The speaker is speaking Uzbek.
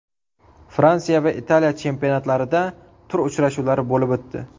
Fransiya va Italiya chempionatlarida tur uchrashuvlari bo‘lib o‘tdi.